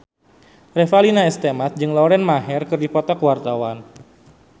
Revalina S. Temat jeung Lauren Maher keur dipoto ku wartawan